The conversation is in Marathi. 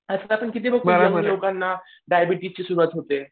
असे आपण किती लोकांना डायबेटिजची सुरुवात होते.